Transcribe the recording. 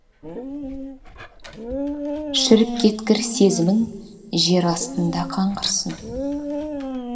шіріп кеткір сезімің жер астында қаңғырсын